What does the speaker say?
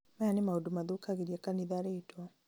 maya nĩ maũndũ mathũkagĩria kanitha rĩtwa